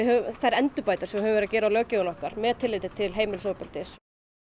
þær endurbætur sem við höfum verið að gera á löggjöfinni okkar með tilliti til heimilisofbeldis